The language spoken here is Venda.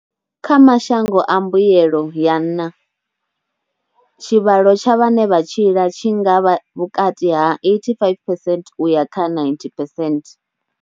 Kha mashango a mbuelo ya nnha, tshivhalo tsha vhane vha tshila tshi nga vha vhukati ha 85 phesent u ya kha 90 phesent.